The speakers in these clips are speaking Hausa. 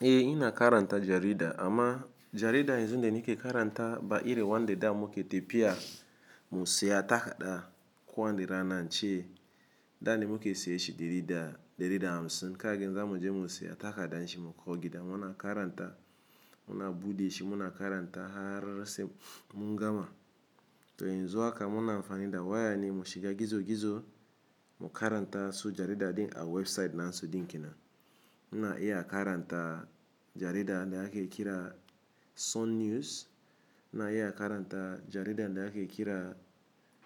Eh ina karanta jarida amma jarida yanzun da nike karanta ba ire wanda da muke tepiya mu saya takada ko wani rana ince da ne muke siye shi dari da, dari da hamsin kaga yanzu zamu je mu saya takadanshi mu ko gida muna karanta, muna bude shi muna karanta harse mungama. To yanzu haka muna amfani da waya ne mu shiga gizo gizo mu karanta su jarida din a website nasu din kenan. Ina iya karanta jaridan da ake kira Sun News, ina iya karanta jaridan da ake kira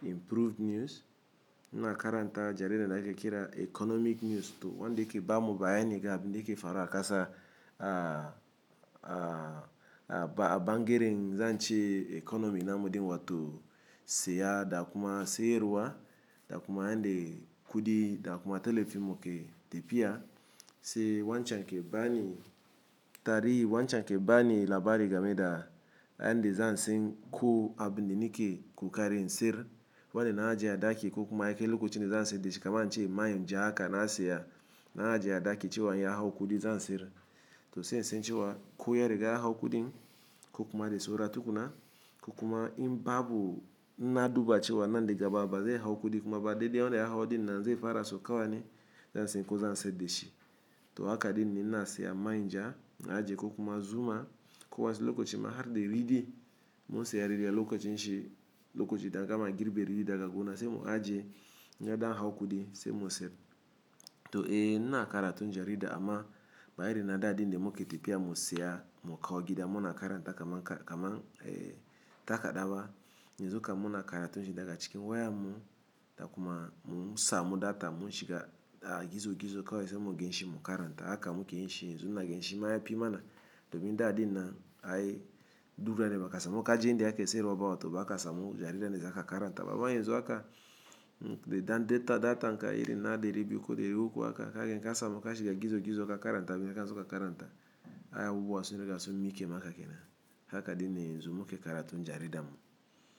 Improved News, ina karanta jaridan da ake kira Economic News to wanda yake bamu bayana ga abin da yake faruwa a kasa a, a, a ba'a bangaren zance economy namu din wato saya da kuma sayarwa da kuma yande kudi da kuma telefimmu ke tepiya. Sai wancan ke bani tarihi, wancan ke bani labari game da yanda zansen ko abin da nike kokarin in sir. Wane na ajiye a daki kokuma yakai lokacin da zansiye dashi kaman ince man ja haka na siya, na ajiye a daki cewa in ya hau kudi zan sir. To sai in san cewa ko ya riga hau kudin ko kuma da saura da tukuna, ko kuma in babu in na duba cewa nan da gaba bazai hau kudi kuma ba dai dai wanda ya hau din nan zai fara saukawa ne zan san ku zan siyar da shi. To haka din ne in na siya man ja in ajiye ko kuma zuma ko wasu lokaci ma har da ridi mun siya ridi a lokacin shi, lokacin da a gama girbi ridi daga gona sai mu ajiye in ya dan hau kudi sai mu siyar. To eh ina karatun jarida amma ba iri na da din da muke tepiya mu siya mu kau gida muna karanta kaman, kaman eh takada ba. Yanzu kam muna karatu shi daga cikin wayan mu da kuma mu sa mu data mun shiga a gizo gizo kawai sai mu gan shi mu karanta. Haka muke yin shi yanzu ina gan shi ma ya fi mana domin da dina ai duk ranan da ba kasamu kaje inda ake siyarwa ba wato bakasa mu jarida dan za ka karanta. Baba yanzu haka da dan data, datan ka iri na dari biu ko dari uku haka kagan kasa mu ka shiga gizo gizo ka karanta, abin da kana so ka karanta ai abubuwa su riga sun miƙe maka kenan. Haka din ne yanzu muke karatun jarida mu.